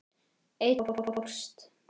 Einn fórst.